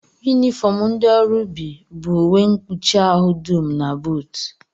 Yunifọm ndị ọrụ ubi bụ uwe mkpuchi ahụ dum na buutu